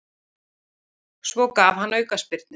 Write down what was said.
Svo gaf hann aukaspyrnu.